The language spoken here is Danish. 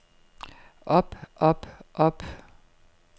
op op op